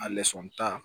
A lɛsɔn ta